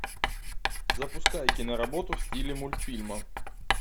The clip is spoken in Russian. запускай киноработу в стиле мультфильма